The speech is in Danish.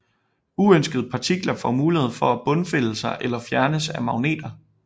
Uønskede partikler får mulighed for at bundfælde sig eller fjernes af magneter